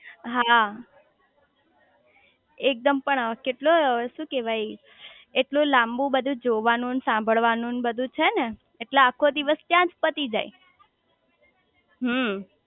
હા એકદમ પણ કેટલો શું કેવાય એટલું લાંબુ બધું જોવાનું ને સાંભળવાનું ન બધું છે ને એટલે આખો દિવસ ત્યાંજ પતિ જાય હમ્મ